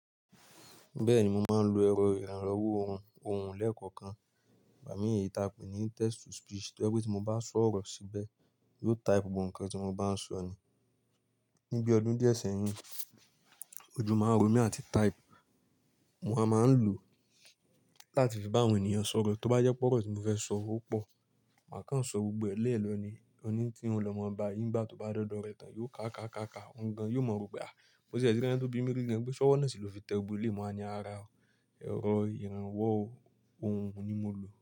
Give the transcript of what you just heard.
Bẹ́ẹ̀ni, mo máa ń lo ẹ̀rọ ìrànwọ́ ohùn, ohùn lẹ́ẹ̀kọ̀kan. Ìgbà mi èyí táa pè ní text to speech, to jẹ́ pé tí mo bá sọ ọ̀rọ̀ síbẹ̀, yóò type gbogbo nǹkan tí mo bá ń sọ nì. Ni bi ọdún di ẹ sẹ́yìn, ojú ma n ro mi àti type. Mo ma máa ń lò láti fi bá àwọn ènìyàn sọ̀rọ̀. Tí ó bá jẹ́ pé ọ̀rọ̀ tí mo fẹ́ sọ ó pọ̀, màá kàn sọ gbogbo ẹ̀ lẹ́ẹ̀lọ ni. Òní tí n lọ mọ̀ ọba, ìgbà tí ó bá dọ́dọ̀ rẹ̀ tán, yóò ká ká ká ká. Òuǹ gan, yóò mọ̀ rò pé, mo tì ẹ̀ ti rí ẹni tó bí mi rí gan, pé ṣọ́wọ́ náà sì ló fi tẹ gbogbo eléyìí. Mo wáa ní, "ara o, ẹ̀rọ ìrànwọ́ ohùn ni mo lò.